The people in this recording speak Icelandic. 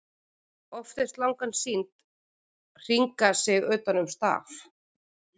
Oft er slangan sýnd hringa sig utan um staf.